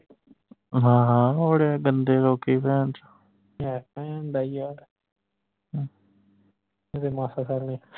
ਹਾਂ ਹਾਂ ਬੜੇ ਗੰਦੇ ਲੋਕੀ ਭੈਨਚੋ